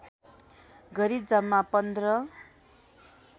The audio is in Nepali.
गरी जम्मा पन्ध्र